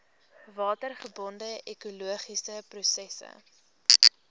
watergebonde ekologiese prosesse